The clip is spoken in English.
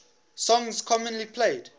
songs commonly played